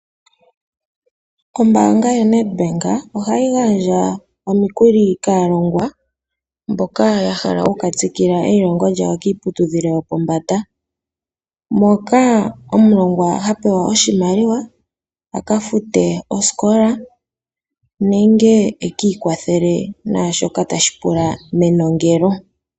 Ombaanga yoNedbank ohayi gaandja omukuli kaalongwa mboka yahala okukatsikila neiilongo lyawo kiiputudhilo yopombanda moka omulongwa hapewa oshimaliwa akafute osikola nenge ekiikwathele mwashoka tashi pulwa menongelo.